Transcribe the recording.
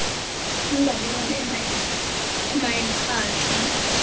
mbalelwano ema iphathwe